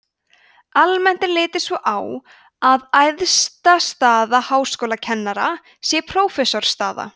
almennt er litið svo á að æðsta staða háskólakennara sé prófessorsstaða